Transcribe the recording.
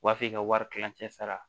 O b'a f'i ka wari tilancɛ sara